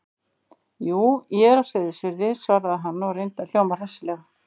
Jú, ég er á Seyðisfirði- svaraði hann og reyndi að hljóma hressilega.